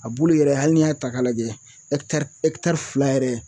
A bulu yɛrɛ hali n'i y'a ta k'a lajɛ fila yɛrɛ